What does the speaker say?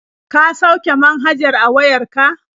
Ka sauke manhajar a wayar ka.